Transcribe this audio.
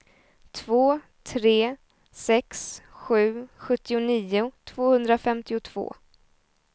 två tre sex sju sjuttionio tvåhundrafemtiotvå